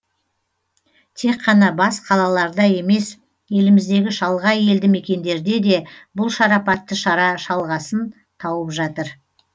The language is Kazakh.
тек қана бас қалаларда емес еліміздегі шалғай елді мекендерде де бұл шарапатты шара жалғасын тауып жатыр